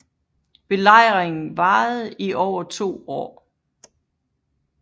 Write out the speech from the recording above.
Belejringen varede i over to år